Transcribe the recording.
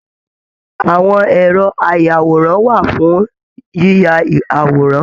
Àwọn ẹrọ ayàwòrán wà fún yiyá àwòrán